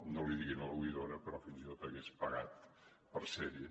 no l’hi diguin a l’oïdora però fins i tot hagués pagat per ser hi